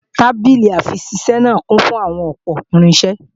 Tábìlì-àfiṣisẹ́ náà kún fún àwọn ọ̀pọ̀ irinṣẹ́